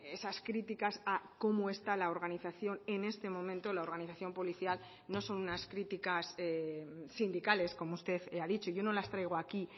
esas críticas a cómo está la organización en este momento la organización policial no son unas críticas sindicales como usted ha dicho yo no las traigo aquí